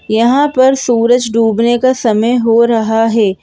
यहां पर सूरज डूबने का समय हो रहा है।